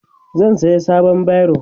zan saya sabon biro